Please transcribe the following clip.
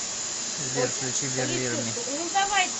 сбер включи билир ми